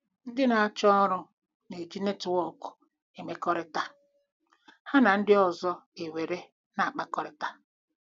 Ndị na-achọ ọrụ na-eji netwọk mmekọrịta ha na ndị ọzọ were na- akpakọrịta.